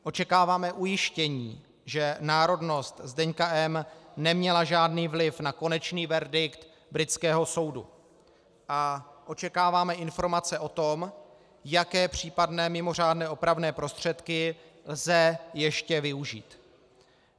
Očekáváme ujištění, že národnost Zdeňka M. neměla žádný vliv na konečný verdikt britského soudu, a očekáváme informace o tom, jaké případné mimořádné opravné prostředky lze ještě využít.